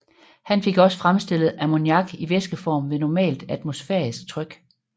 Han fik også fremstillet ammoniak i væskeform ved normalt atmosfærisk tryk